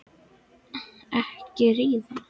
Enda vildi ríkið ekki greiða mér innskattinn til baka.